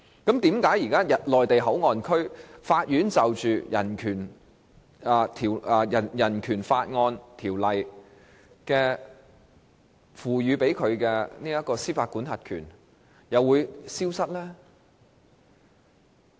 為何在內地口岸區，法院獲《人權法案條例》賦予的司法管轄權會消失？